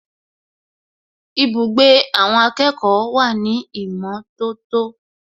Ibùgbé àwọn akẹ́kọ̀ọ́ wà ní ìmọ̀tótó